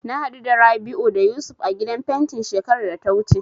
Na haɗu da Rabi'u da Yusuf a gidan fentin shekarar da ta wuce.